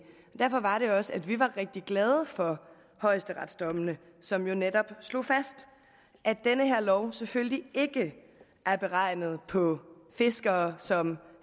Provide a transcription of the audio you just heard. og derfor var det også at vi var rigtig glade for højesteretsdommene som jo netop slog fast at den her lov selvfølgelig ikke er beregnet på fiskere som